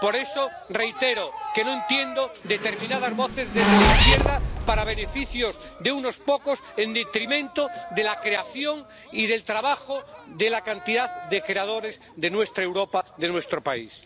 Por eso reitero que no entiendo determinadas voces desde la izquierda en favor de los beneficios de unos pocos en detrimento de la creación y del trabajo de cantidad de creadores de nuestra Europa, de nuestro país.